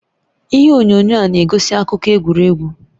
Ihe onyonyo a na-egosi akụkọ egwuregwu